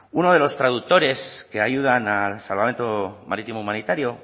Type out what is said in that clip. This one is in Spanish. uno de los traductores que ayudan a salvamento marítimo humanitario